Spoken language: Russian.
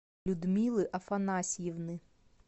людмилы афанасьевны